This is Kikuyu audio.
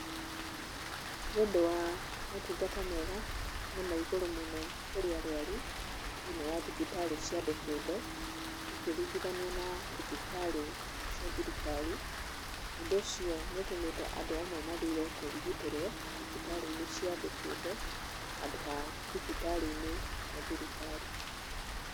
Nĩ ũndũ wa maũtungata mega na ma igũrũ mũno kũrĩ arwaru thĩiniĩ wa thibitarĩ cia andũ kĩũmbe gũkĩringithanio na thibitarĩ cia thirikari, ũndũ ũcio nĩ ũtũmĩte andũ amwe mathure kũrigitĩrwo thibitarĩ-inĩ cia andũ kĩũmbe handũ ha thibitarĩ-inĩ cia thirikari.